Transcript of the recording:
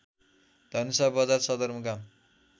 धनुषा बजार सदरमुकाम